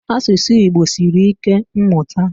Asụsụ Igbo sịrị ike mmụta.